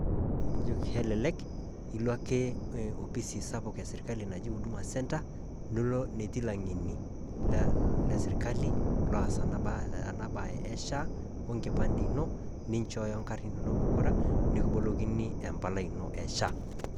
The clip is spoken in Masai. Ejo kelelek eloo ake e ofisi sapuk e sirikali naji huduma center niloo natii laing'eni le sirikali loas ana baayie e SHA o nkipande enoo nishooyo nkaarin enono pookira nikiboolokinyi empalai eno e SHA.